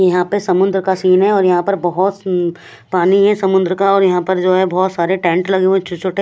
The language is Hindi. यहाँ पर समुन्दर का सीन है और यहाँ पर बोहोत पानी है समुन्दर का और यहाँ पर जो है बोहोत सारे टेंट लगे हुए है छोटे छोटे--